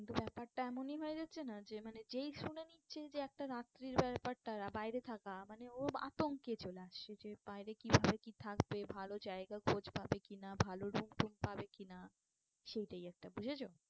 কিন্তু ব্যাপারটা এমনই হয়ে যাচ্ছে না যে মানে যেই শুনে নিচ্ছে যে একটা রাত্রির ব্যাপারটা বাইরে থাকা মানে ও আতঙ্কে চলে আসছে যে বাইরে কি ভাবে কি থাকবে? ভালো জায়গা খোঁজ পাবে কি না? ভালো room টুম পাবে কি না? সেইটাই একটা বুঝেছো